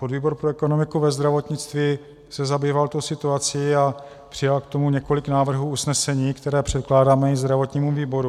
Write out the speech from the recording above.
Podvýbor pro ekonomiku ve zdravotnictví se zabýval tou situací a přijal k tomu několik návrhů usnesení, která předkládáme i zdravotnímu výboru.